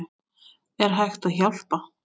Er hægt að hjálpa?